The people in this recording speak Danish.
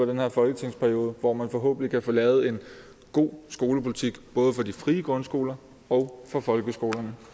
den her folketingsperiode hvor man forhåbentlig kan få lavet en god skolepolitik både for de frie grundskoler og for folkeskolerne